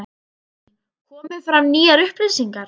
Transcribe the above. Guðný: Komið fram nýjar upplýsingar?